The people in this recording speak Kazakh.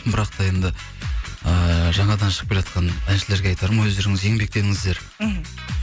бірақ та енді ыыы жаңадан шығып келе жатқан әншілерге айтарым өздеріңіз еңбектеніңіздер мхм